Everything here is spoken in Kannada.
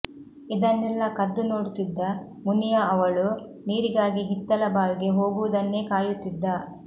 ಇದನೆಲ್ಲ ಕದ್ದು ನೋಡುತ್ತಿದ್ದ ಮುನಿಯ ಅವಳು ನೀರಿಗಾಗಿ ಹಿತ್ತಲ ಬಾವಿಗೆ ಹೋಗುವುದನ್ನೇ ಕಾಯುತ್ತಿದ್ದ